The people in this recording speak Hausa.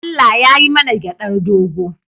Allah yai mana gyaɗar dogo.